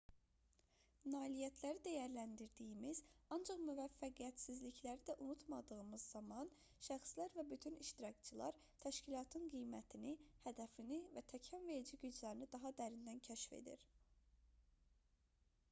nailiyyətləri dəyərləndirdiyimiz ancaq müvəffəqiyyətsizlikləri da unutmadığımız zaman şəxslər və bütün iştirakçılar təşkilatın qiymətini hədəfini və təkanverici güclərini daha dərindən kəşf edir